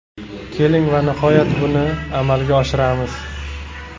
Keling, va nihoyat, buni amalga oshiramiz.